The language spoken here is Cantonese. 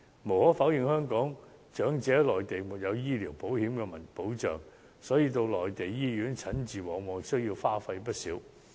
無可否認，由於香港長者在內地沒有醫療保險的保障，到內地醫院診治往往需要花費不少。